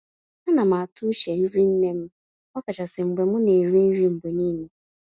Á ná m àtụ́ úche nrí nnè m, ọ̀kàchàsị́ mgbe m ná-èrí nrí mgbe nííle.